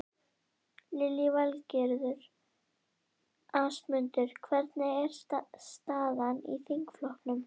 Lillý Valgerður: Ásmundur, hvernig er staðan í þingflokknum?